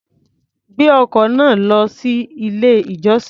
Gbé ọkọ̀ náà lọ sí ilé-ìjọsìn.